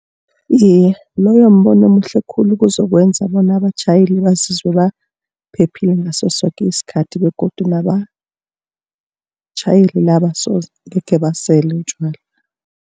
Iye, loyo mbono omuhle khulu ozokwenza bona abatjhayeli bazizwe baphephile ngaso soke isikhathi begodu nabatjhayeli laba so angekhe basele utjwala.